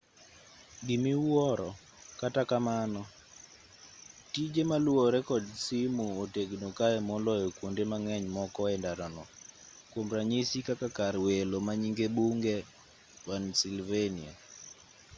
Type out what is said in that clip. gimiwuoro kata kamano tije maluwore kod simu otegno kae moloyo kuonde mang'eny moko endara no kuom ranyisi kaka kar welo manyinge bunge pennsylvania